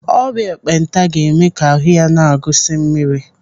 Ọrịa ekpenta ga-eme ka ahụ ya na-agụsi mmiri.